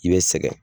I bɛ sɛgɛn